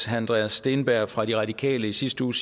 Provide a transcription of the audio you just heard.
herre andreas steenberg fra de radikale i sidste uge